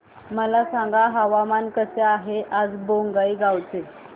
मला सांगा हवामान कसे आहे आज बोंगाईगांव चे